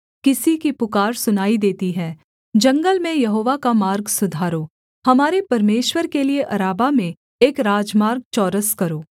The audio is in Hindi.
किसी की पुकार सुनाई देती है जंगल में यहोवा का मार्ग सुधारो हमारे परमेश्वर के लिये अराबा में एक राजमार्ग चौरस करो